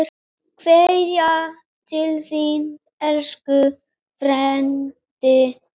Kveðja til þín, elsku Freddi.